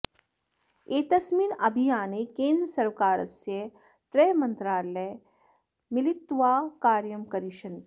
एतस्मिन् अभियाने केन्द्रसर्वकारस्य त्रयः मन्त्रालयाः मिलित्वा कार्यं करिष्यन्ति